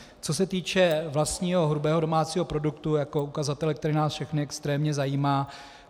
Co se týče vlastního hrubého domácího produktu jako ukazatele, který nás všechny extrémně zajímá.